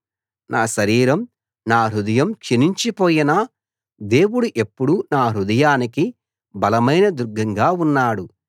నా శరీరం నా హృదయం క్షీణించిపోయినా దేవుడు ఎప్పుడూ నా హృదయానికి బలమైన దుర్గంగా ఉన్నాడు